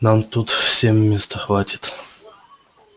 нам тут всем места хватит